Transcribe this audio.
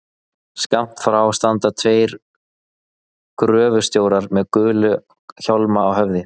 Skammt frá standa tveir gröfustjórar með gula hjálma á höfði.